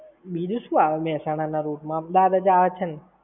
બીજું શું આવે છે મેહસાણા ના route માં. અમદાવાદ જ આવે છે ને!